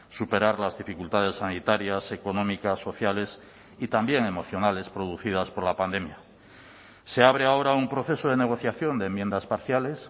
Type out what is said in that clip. superar las dificultades sanitarias económicas sociales y también emocionales producidas por la pandemia se abre ahora un proceso de negociación de enmiendas parciales